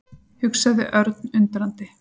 hugsaði Örn undrandi.